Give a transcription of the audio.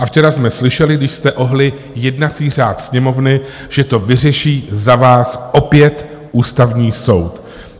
A včera jsme slyšeli, když jste ohnuli jednací řád Sněmovny, že to vyřeší za vás opět Ústavní soud.